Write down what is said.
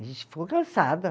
A gente ficou cansada.